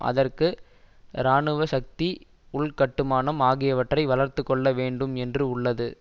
அதற்கு இராணுவ சக்தி உள்கட்டுமானம் ஆகியவற்றை வளர்த்து கொள்ள வேண்டும் என்று உள்ளது